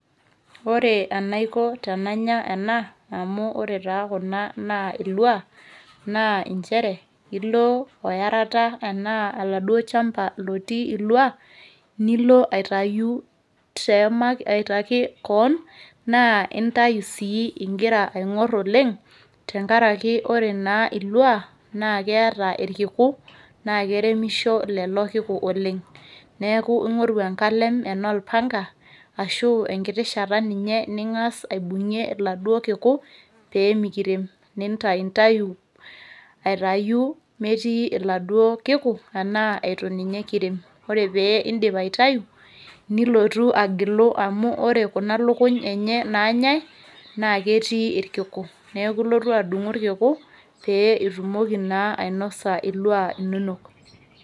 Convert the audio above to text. ore enaiko tenanya ena amu ore taa kuna naa ilua naa inchere ilo oyarata anaa oladuo chamba lotii ilua nilo aitayu teema aitaki koon naa intai sii ingira aing'orr oleng tenkaraki ore naa ilua naa keeta irkiku naa keremisho lelo kiku oleng neeku ing'oru enkalem enaa olpanga ashu enkiti shata ninye ning'as aibung'ie iladuo kiku pemikirem nintaintayu aitayu metii iladuo kiku anaa etu ninye kirem ore pee indip aitayu nilotu agilu amu ore kuna luluny enye nanyae naa ketii irkiku neeku ilotu adung'u irkiku pee itumoki naa ainosa ilua inonok.